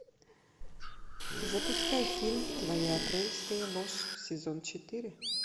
запускай фильм твоя апрельская ложь сезон четыре